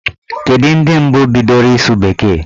Kedu ndị mbụ bidoro ịsụ bekee?